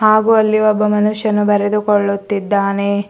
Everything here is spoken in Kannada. ಹಾಗು ಅಲ್ಲಿ ಒಬ್ಬ ಮನುಷ್ಯನು ಬರೆದುಕೊಳ್ಳುತ್ತಿದ್ದಾನೆ.